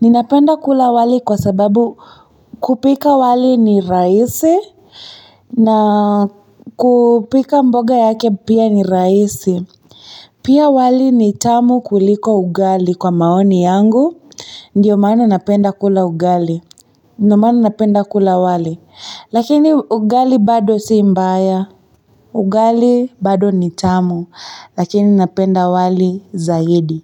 Ninapenda kula wali kwa sababu kupika wali ni rahisi. Na kupika mboga yake pia ni raisi. Pia wali ni tamu kuliko ugali kwa maoni yangu. Ndiyo maana napenda kula ugali. Ndiyo maana napenda kula wali. Lakini ugali bado si mbaya. Ugali bado ni chamu. Lakini napenda wali zaidi.